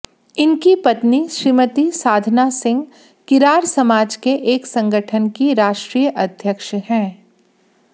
इनकी पत्नी श्रीमती साधना सिंह किरार समाज के एक संगठन की राष्ट्रीय अध्यक्ष हैं